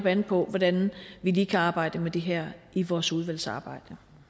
an på hvordan vi lige kan arbejde med det her i vores udvalgsarbejde